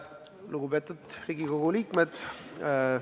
Lugupeetud Riigikogu liikmed!